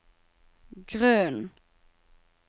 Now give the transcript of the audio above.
grunnen